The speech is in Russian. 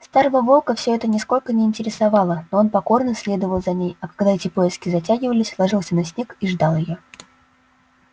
старого волка всё это нисколько не интересовало но он покорно следовал за ней а когда эти поиски затягивались ложился на снег и ждал её